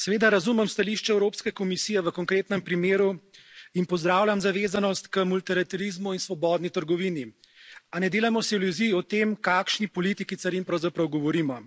Seveda razumem stališče Evropske komisije v konkretnem primeru in pozdravljam zavezanost k multilaterizmu in svobodni trgovini. A ne delajmo si iluzij o tem, o kakšni politiki carin pravzaprav govorimo.